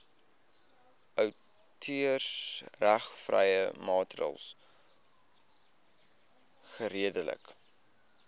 outeursregvrye materiaal geredelik